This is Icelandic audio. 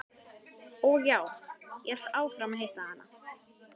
Og já, ég hélt áfram að hitta hana.